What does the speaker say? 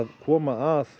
koma að